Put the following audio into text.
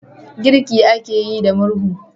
Girki ake yi da murhu